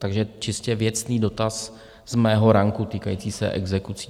Takže čistě věcný dotaz z mého ranku týkající se exekucí.